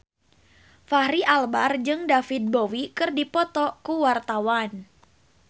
Fachri Albar jeung David Bowie keur dipoto ku wartawan